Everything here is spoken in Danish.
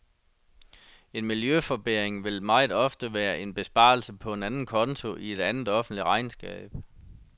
En miljøforbedring vil meget ofte være en besparelse på en anden konto i et andet offentligt regnskab.